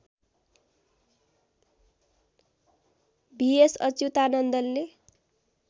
VS अच्युतानन्दनले